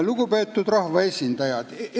Lugupeetud rahvaesindajad!